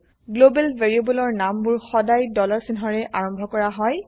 global ভেৰিয়েবলৰ নামবোৰ সদাই ডলাৰ চিহ্নৰে আৰম্ভ কৰা হয়